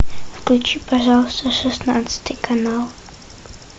включи пожалуйста шестнадцатый канал